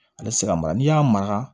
Ale ti se ka mara n'i y'a mara